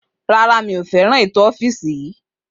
Rárá, mi ò nífẹ̀ẹ́ ètò ọ́fìsì.